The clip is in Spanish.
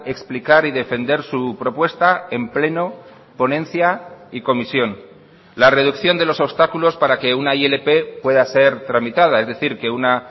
explicar y defender su propuesta en pleno ponencia y comisión la reducción de los obstáculos para que una ilp pueda ser tramitada es decir que una